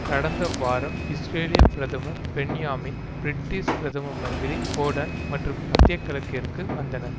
கடந்த வாரம் இஸ்ரேலிய பிரதமர் பெண்யாமின் பிரிட்டிஷ் பிரதம மந்திரி கோர்டன் மற்றும் மத்தியகிழக்கிற்கு வந்தனர்